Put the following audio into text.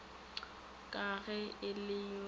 ka ge e le yo